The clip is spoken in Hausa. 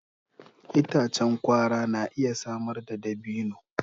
Itacen kwara na iya samar da dabino.